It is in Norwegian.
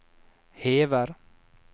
hever